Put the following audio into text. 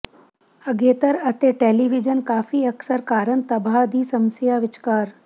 ਅਗੇਤਰ ਅਤੇ ਟੈਲੀਵਿਜ਼ਨ ਕਾਫ਼ੀ ਅਕਸਰ ਕਾਰਨ ਤਬਾਹ ਦੀ ਸਮੱਸਿਆ ਵਿਚਕਾਰ